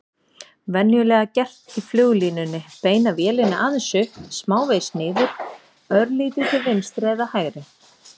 Venjulega gert í fluglínunni: beina vélinni aðeins upp, smávegis niður, örlítið til vinstri eða hægri.